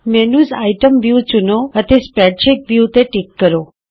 menu item view ਚੁਣੋ ਅਤੇ spreadsheet view ਤੇ ਟਿਕ ਕਰੋ